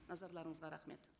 назарларыңызға рахмет